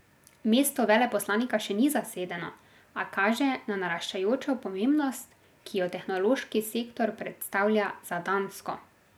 Mesto veleposlanika še ni zasedeno, a kaže na naraščajočo pomembnost, ki jo tehnološki sektor predstavlja za Dansko.